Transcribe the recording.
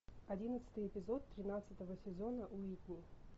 одиннадцатый эпизод тринадцатого сезона уитни